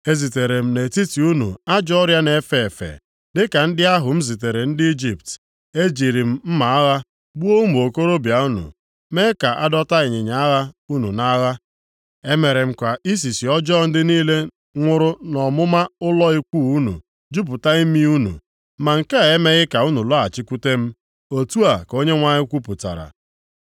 “Ezitere m nʼetiti unu ajọ ọrịa na-efe efe dịka ndị ahụ m zitere ndị Ijipt. Ejiri m mma agha gbuo ụmụ okorobịa unu, mee ka a dọta ịnyịnya agha unu nʼagha. Emere m ka isisi ọjọọ ndị niile nwuru nʼọmụma ụlọ ikwu + 4:10 Maọbụ, ebe obibi unu jupụta imi unu, ma nke a emeghị ka unu lọghachikwute m.” Otu a ka Onyenwe anyị kwupụtara.